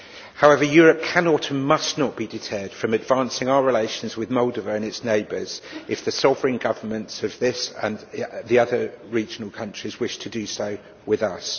However Europe cannot and must not be deterred from advancing our relations with Moldova and its neighbours if the sovereign governments of this and the other regional countries wish to do so with us.